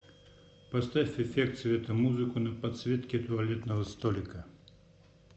поставь эффект светомузыку на подсветке туалетного столика